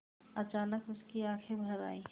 अचानक उसकी आँखें भर आईं